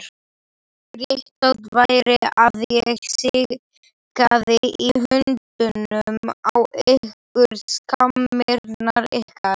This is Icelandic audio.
Réttast væri að ég sigaði hundunum á ykkur, skammirnar ykkar!